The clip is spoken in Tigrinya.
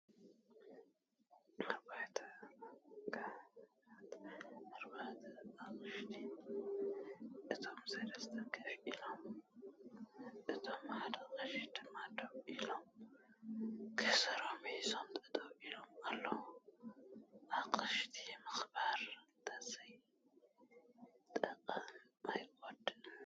ኣርባህት ካህናት ኣቦታት(ኣቅሽቲ) እቶም 3ተ ኮፍ ኢሎም እቶም ሓደ ቀሺ ድማ ደው ኢሎም ከዘረኦም ሒዞም ጠጠው ኢሎም ኣለው። ንኣቅሽቲ ምክባር እተዘይጠቀመ ኣይጎድእን።